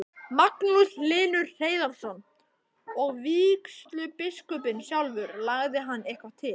Magnús Hlynur Hreiðarsson: Og vígslubiskupinn sjálfur, lagði hann eitthvað til?